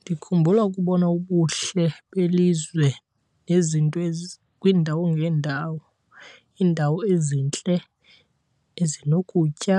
Ndikhumbula ukubona ubuhle belizwe nezinto , kwiindawo ngeendawo, iindawo ezintle ezinokutya,